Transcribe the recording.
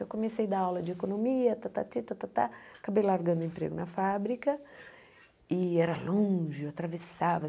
Eu comecei a dar aula de economia, tatati tatatá acabei largando o emprego na fábrica e era longe, eu atravessava.